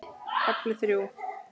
KAFLI ÞRJÚ